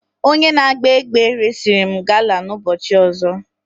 Onye na-agba egbe resịrị m gala na ụbọchị ọzọ.